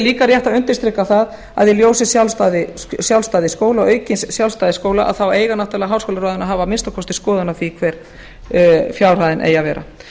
líka rétt að undirstrika það að í ljósi sjálfstæði skóla og aukins sjálfstæði skóla að þá eiga náttúrlega háskólaráðin að hafa að minnsta kosti skoðun á því hver fjárhæðin eigi að vera